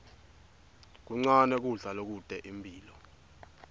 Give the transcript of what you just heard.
kuncane kudla lokute imphilo